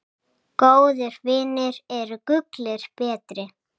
Góðir vinir eru gulli betri.